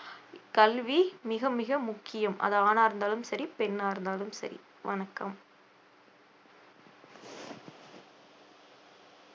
கல்வி மிக மிக முக்கியம் அது ஆணா இருந்தாலும் சரி பெண்ணா இருந்தாலும் சரி வணக்கம்